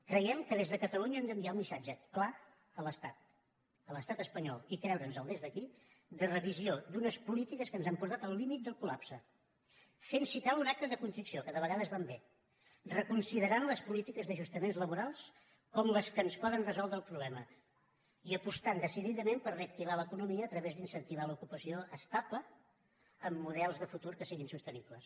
creiem que des de catalunya hem d’enviar un missatge clar a l’estat a l’estat espanyol i creure’ns el des d’aquí de revisió d’unes polítiques que ens han portat al límit del col·lapse fent si cal un acte de contrició que de vegades van bé reconsiderant les polítiques d’ajustaments laborals com les que ens poden resoldre el problema i apostant decididament per reactivar l’economia a través d’incentivar l’ocupació estable amb models de futur que siguin sostenibles